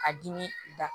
A dimi da